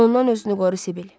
Ondan özünü qoru Sibil.